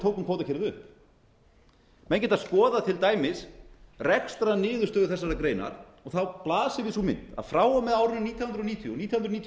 tókum kvótakerfið upp menn geta skoðað til dæmis rekstrarniðurstöðu þessarar greinar og þá blasir við sú mynd að frá og með árinu nítján hundruð níutíu og nítján hundruð níutíu